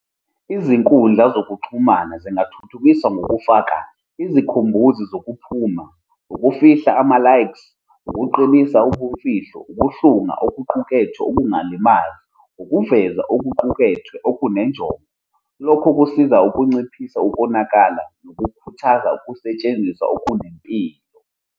Izinkundla zokuxhumana zingathuthukiswa ngokufaka izikhumbuzi zokuphuma, ukufihla ama-likes, ukuqinisa ubumfihlo, ukuhlunga okokuqukethwe okungalimazi, ukuveza okuqukethwe okunejongo. Lokho kusiza ukunciphisa ukonakala nokukhuthaza ukusetshenziswa okunempilo.